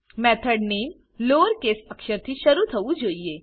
method name lowercase અક્ષરથી શરૂ થવું જોઈએ